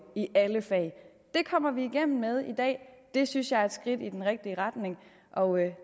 i alle fag det kommer vi igennem med i dag og det synes jeg er et skridt i den rigtige retning og